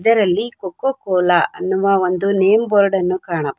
ಇದರಲ್ಲಿ Coca Cola ಎಂಬ name board ಅನ್ನು ಕಾಣಬಹುದು.